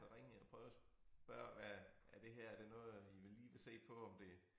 Så ringede jeg prøvede at spørge hvad er det her er det noget I lige vil se på om det